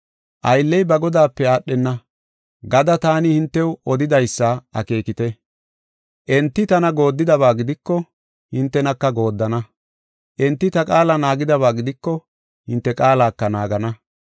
‘Aylley ba godaape aadhenna’ gada taani hintew odidaysa akeekite. Enti tana gooddidaba gidiko hintenaka gooddana. Enti ta qaala naagidaba gidiko hinte qaalaka naagana.